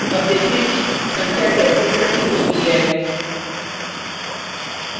अब देखें कि संख्या कैसे संचित होती है